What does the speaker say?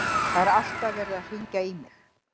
Það er alltaf verið að hringja í mig.